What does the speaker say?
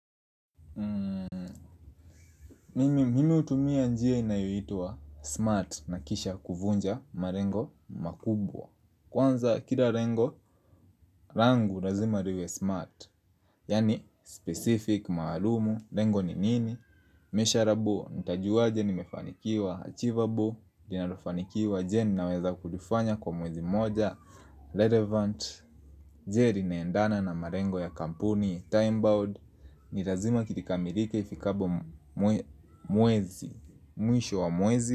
Mimi hutumia njia inayoitwa smart na kisha kuvunja malengo makubwa Kwanza kila lengo, langu lazima liwe smart Yaani specific maalumu, lengo ni nini Mesureable, ntiajuwaje nimefanikiwa achievable Dinalofanikiwa je naweza kulifanya kwa mwezi moja Relevant, jer linaendana na malengo ya kampuni, time bound Ni lazima kikamilike ifikabo mwezi Mwisho wa mwezi.